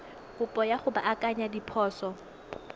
kopo ya go baakanya diphoso